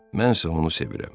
Mənsə onu sevirəm.